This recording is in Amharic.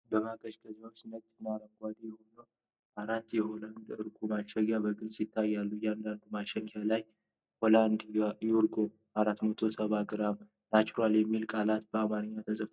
በማቀዝቀዣ ውስጥ ነጭ እና አረንጓዴ የሆኑ አራት የ"ሆላንድ እርጎ" ማሸጊያዎች በግልጽ ይታያሉ። በእያንዳንዱ ማሸጊያ ላይ "Holland yoghurt," "470 gr," እና "NATURAL" የሚሉ ቃላት በአማርኛም ተጽፈው ይታያሉ።